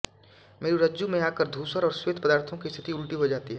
मेरूरज्जु में आकर धूसर और श्वेत पदार्थों की स्थिति उलटी हो जाती हे